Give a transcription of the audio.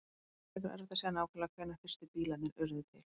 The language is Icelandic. Það er frekar erfitt að segja nákvæmlega hvenær fyrstu bílarnir urðu til.